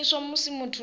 zwa shumiswa musi muthu a